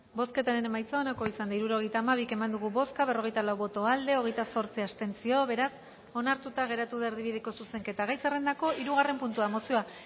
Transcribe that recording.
bozketaren emaitza onako izan da hirurogeita hamabi eman dugu bozka berrogeita lau boto aldekoa hogeita zortzi abstentzio beraz onartuta geratu da erdibideko zuzenketa gai zerrendako hirugarren puntua mozioa